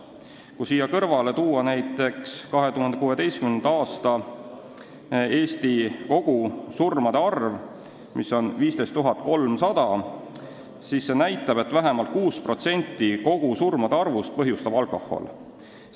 Kui siia kõrvale tuua näiteks surmade koguarv Eestis 2016. aastal, mis oli 15 300, siis see näitab, et vähemalt 6% kõigist surmadest põhjustab alkohol.